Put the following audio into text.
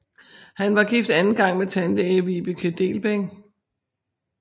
Han var gift anden gang med tandlæge Vibeke Dehlbæk